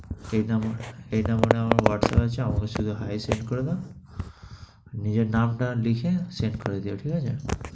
এইটা আমার, এইটা আমার মানে whatsapp আছে, whatsapp এ sent করে দাও। নিজের নামটা লিখে sent করে দিও, ঠিক আছে?